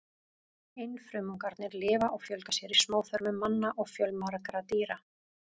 Einfrumungarnir lifa og fjölga sér í smáþörmum manna og fjölmargra dýra.